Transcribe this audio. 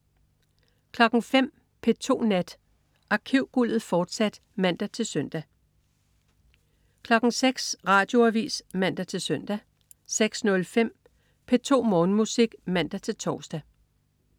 05.00 P2 Nat. Arkivguldet, fortsat (man-søn) 06.00 Radioavis (man-søn) 06.05 P2 Morgenmusik (man-tors)